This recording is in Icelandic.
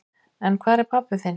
En hvar er pabbi þinn?